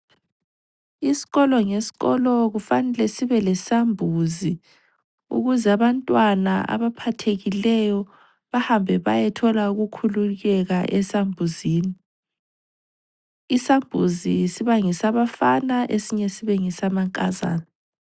Isikolo ngesikolo kufanele sibe lesambuzi, ukuze abantwana abaphathekileyo bahambe bayethola ukukhululeka esambuzini. Isambuzi sibangesabafana esinye sibe ngesamankazana.